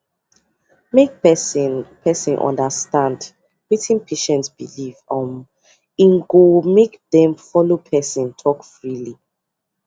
make person person understand wetin patient believe um go make dem follow person talk freely